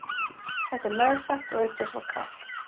Þetta er meðfætt og auk þess var kalt.